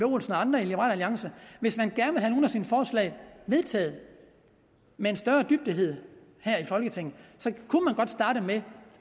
og andre i liberal alliance hvis man gerne vil sine forslag vedtaget med større dygtighed her i folketinget kunne man godt starte med